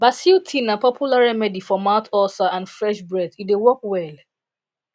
basil tea na popular remedy for mouth ulcer and fresh breath e dey work well